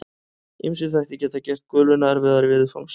Ýmsir þættir geta gert guluna erfiðari viðfangs.